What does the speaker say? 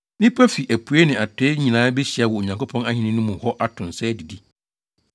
Nnipa fi apuei ne atɔe nyinaa behyia wɔ Onyankopɔn ahenni no mu hɔ ato nsa adidi.